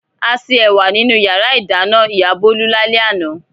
A se ẹ̀wà nínú ìyàrá-ìdáná ìyá Bólú lálẹ́ àná.